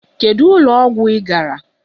Kedu ụlọ ọgwụ ị gara!